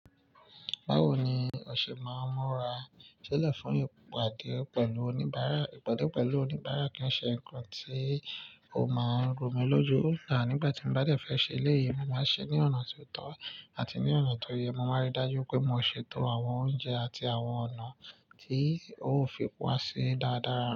Báwo ni o ṣe máa ń múra sílẹ̀ fún ìpàdé pẹ̀lú oníbàárà? Ìpàdé pẹ̀lú oníbàárà kìí ṣe nǹkan tí o máa ń rò mí lójú, nígbáti mo bá dé fẹ́ ṣe eléyìí, mo máa ń ṣe ní ọ̀nà tí ó tọ́ àti ní ọ̀nà tó yé, mo máa ń rí i dájú pé mo ṣètò àwọn oúnjẹ àti àwọn ọ̀nà tí ó fi wá sí dáradára.